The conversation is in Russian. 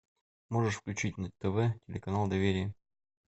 можешь включить на тв телеканал доверие